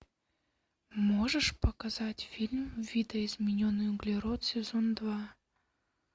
можешь показать фильм видоизмененный углерод сезон два